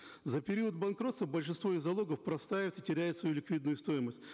за период банкротства большинство из залогов простаивают и теряют свою ликвидную стоимость